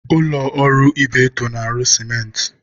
Ụlọ ọrụ Ibeto na-arụ sịmentị.